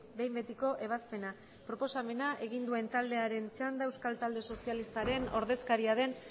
behin betiko ebazpena proposamena egin duen taldearen txanda euskal talde sozialistaren ordezkariaren